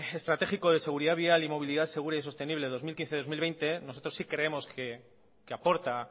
estratégico de seguridad vial y movilidad segura y sostenible dos mil quince dos mil veinte nosotros sí creemos que aporta